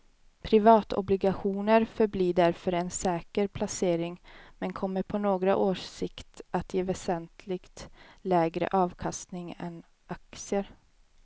Privatobligationer förblir därför en säker placering men kommer på några års sikt att ge väsentligt lägre avkastning än aktier.